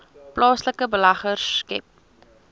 plaaslike beleggers skep